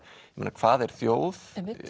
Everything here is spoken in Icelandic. hvað er þjóð